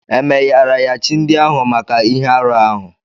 E meyara chi ndị ahụ maka ihe arụ ahụ?